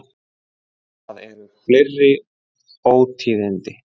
Það eru fleiri ótíðindi.